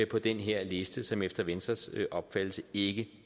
på den her liste som efter venstres opfattelse ikke